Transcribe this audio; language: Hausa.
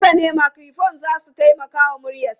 Haka ne, makirufo za su taimaka wa muryarsa.